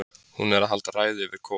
Hún er að halda ræðu yfir Kol